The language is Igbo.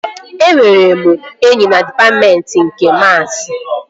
Enwere m enyi na dịpatmentị nke maasi